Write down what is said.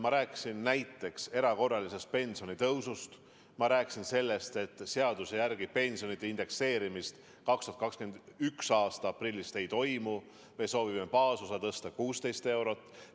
Ma rääkisin näiteks erakorralisest pensionitõusust, ma rääkisin sellest, et seaduse järgi pensionide indekseerimist alates 2021. aasta aprillist ei toimu, aga me soovime baasosa tõsta 16 eurot.